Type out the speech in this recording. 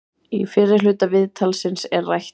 Í fyrri hluta viðtalsins er rætt um